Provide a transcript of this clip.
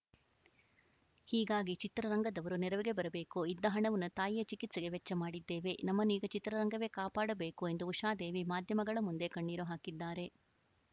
ಹೀಗಾಗಿ ಚಿತ್ರರಂಗದವರು ನೆರವಿಗೆ ಬರಬೇಕು ಇದ್ದ ಹಣವನ್ನು ತಾಯಿಯ ಚಿಕಿತ್ಸೆಗೆ ವೆಚ್ಚ ಮಾಡಿದ್ದೇವೆ ನಮ್ಮನ್ನು ಈಗ ಚಿತ್ರರಂಗವೇ ಕಾಪಾಡಬೇಕು ಎಂದು ಉಷಾದೇವಿ ಮಾಧ್ಯಮಗಳ ಮುಂದೆ ಕಣ್ಣೀರು ಹಾಕಿದ್ದಾರೆ